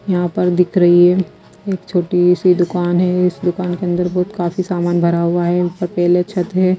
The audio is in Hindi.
यहां पर दिख रही है एक छोटी सी दुकान है इस दुकान के अंदर बहुत काफी सामान भरा हुआ है ऊपर पेले छत है।